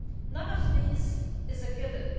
None of these is a given.